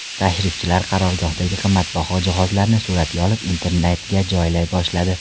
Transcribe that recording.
Tashrifchilar qarorgohdagi qimmatbaho jihozlarni suratga olib, internetga joylay boshladi.